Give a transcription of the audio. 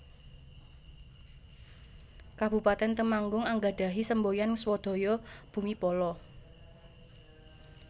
Kabupatèn Temanggung anggadhahi semboyan Swadhaya Bumi Pala